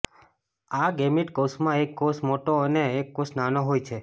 આ ગૅમીટ કોષમાં એક કોષ મોટો અને એક કોષ નાનો હોય છે